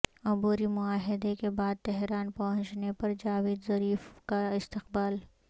عبوری معاہدے کے بعد تہران پہنچنے پر جاوید ظریف کا استقبال